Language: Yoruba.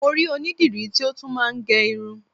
Mo rí onídìrí tí ó tún máa ń gẹ irun